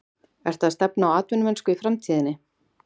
Ertu að stefna á atvinnumennsku í framtíðinni?